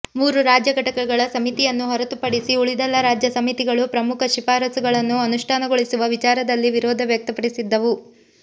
ಮೂರು ರಾಜ್ಯ ಘಟಕಗಳ ಸಮಿತಿಯನ್ನು ಹೊರತುಪಡಿಸಿ ಉಳಿದೆಲ್ಲಾ ರಾಜ್ಯ ಸಮಿತಿಗಳು ಪ್ರಮುಖ ಶಿಫಾರಸುಗಳನ್ನು ಅನುಷ್ಠಾನಗೊಳಿಸುವ ವಿಚಾರದಲ್ಲಿ ವಿರೋಧ ವ್ಯಕ್ತಪಡಿಸಿದ್ದವು